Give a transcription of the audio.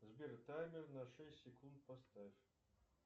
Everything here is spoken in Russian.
сбер таймер на шесть секунд поставь